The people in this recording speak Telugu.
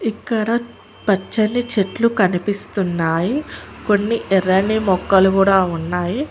ఇక్కడ పచ్చని చెట్లు కనిపిస్తున్నాయి కొన్ని ఎర్రని మొక్కలు కూడా ఉన్నాయి.